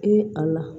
I ye a la